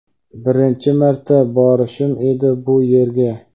Birinchi marta borishim edi bu yerga.